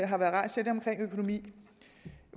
har været rejst om økonomien